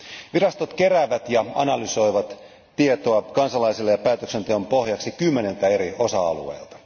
Virastot keräävät ja analysoivat tietoa kansalaisille ja päätöksenteon pohjaksi kymmeniltä eri osa alueilta.